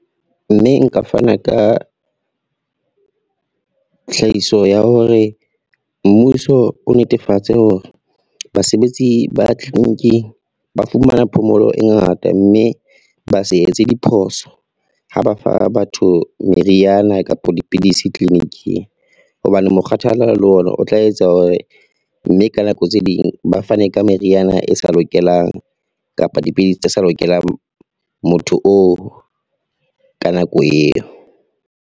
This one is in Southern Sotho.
Mme nka fana ka, tlhahiso ya hore mmuso o netefatse hore basebetsi ba clinic-ing ba fumana phomolo e ngata mme ba se etse diphoso, ha ba fa batho meriana kapa dipidisi clinic-ing hobane mokgathala le ona o tla etsa hore, mme ka nako tse ding ba fane ka meriana e sa lokelang kapa dipidisi tse sa lokelang motho oo ka nako eo.